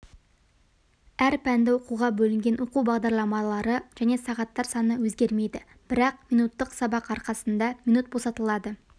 әр пәнді оқуға бөлінген оқу бағдарламалары және сағаттар саны өзгермейді бірақ минуттық сабақ арқасында минут босатылады